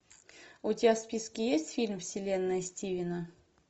у тебя в списке есть фильм вселенная стивена